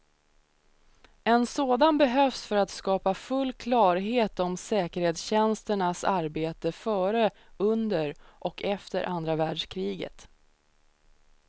En sådan behövs för att skapa full klarhet om säkerhetstjänsternas arbete före, under och efter andra världskriget.